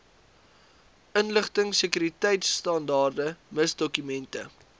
inligtingsekuriteitstandaarde miss dokumente